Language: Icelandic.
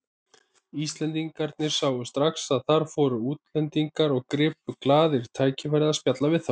Íslendingarnir sáu strax að þar fóru útlendingar og gripu glaðir tækifærið að spjalla við þá.